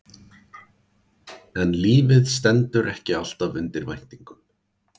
En lífið stendur ekki alltaf undir væntingum.